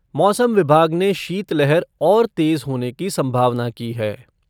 मौसम विभाग ने शीतलहर और तेज़ होने की संभावना की है।